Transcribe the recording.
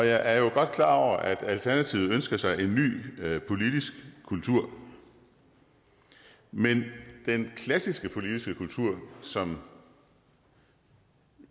er jo godt klar over at alternativet ønsker sig en ny politisk kultur men den klassiske politiske kultur som